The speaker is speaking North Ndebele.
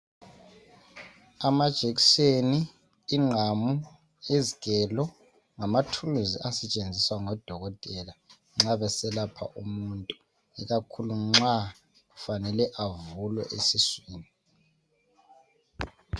Amajekseni, ingqamu, izgelo ngamathuluzi asetshenziswa ngodokotela nxa beselapha umuntu, ikakhulu nxa kufale avulwe esiswini.